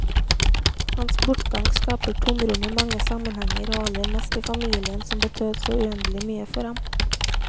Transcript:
Hans bortgang skaper tomrom i mange sammenhenger, og aller mest i familien som betød så uendelig mye for ham.